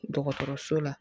Dɔgɔtɔrɔso la